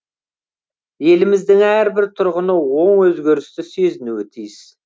еліміздің әрбір тұрғыны оң өзгерісті сезінуі тиіс